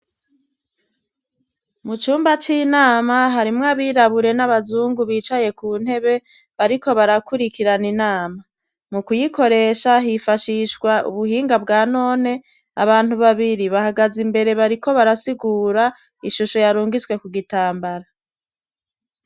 Mu cumba c'inama harimwo abirabure n'abazungu bicaye ku ntebe, bariko barakurikirana inama. Mu kuyikoresha hifashishwa ubuhinga bwa none abantu babiri bahagaze imbere bariko barasigura ishusho yarungitswe ku gitambara.